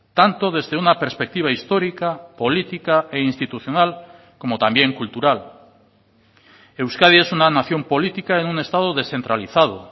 tanto desde una perspectiva histórica política e institucional como también cultural euskadi es una nación política en un estado descentralizado